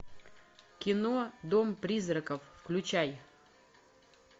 кино дом призраков включай